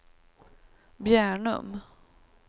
Bjärnum